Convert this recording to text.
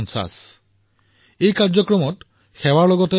এই সমগ্ৰ গান্ধী ১৫০ৰ কাৰ্যসূচীত সামূহিকতাও থাকক আৰু সেৱা ভাৱো থাকক